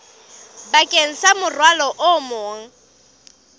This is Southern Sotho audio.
bakeng sa morwalo o mong